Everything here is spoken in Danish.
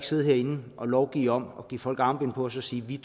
sidde herinde og lovgive om det give folk armbind på og så sige at vi